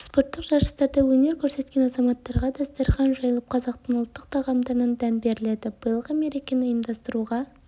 спорттық жарыстарда өнер көрсеткен азаматтарға дастархан жайылып қазақтың ұлттық тағамдарынан дәм беріледі биылғы мерекені ұйымдастыруға